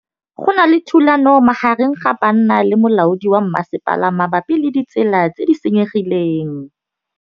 Go na le thulanô magareng ga banna le molaodi wa masepala mabapi le ditsela tse di senyegileng.